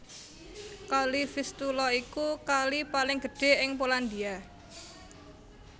Kali Vistula iku kali paling gedhé ing Polandia